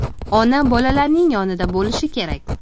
Ona bolalarining yonida bo‘lishi kerak!